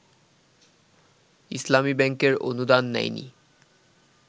ইসলামী ব্যাংকের অনুদান নেয়নি